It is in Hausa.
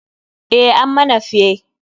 Eh, ammana fyae.